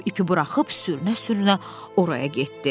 O ipi buraxıb sürünə-sürünə oraya getdi.